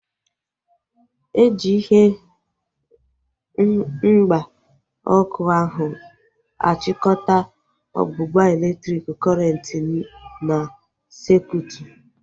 Eji ihe mgba ọkụ ahu achikọta ọgbụgba elektriki kọrenti n'sekutu